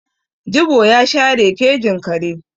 Jibo ya share kejin kare.